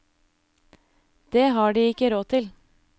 Det har de ikke råd til.